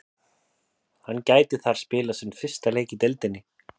Hann gæti þar spilað sinn fyrsta leik í deildinni.